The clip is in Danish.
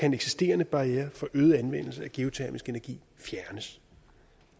en eksisterende barriere for øget anvendelse af geotermisk energi fjernes